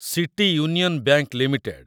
city union bank limited